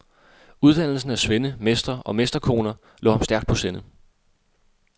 Uddannelsen af svende, mestre og mesterkoner lå ham stærkt på sinde.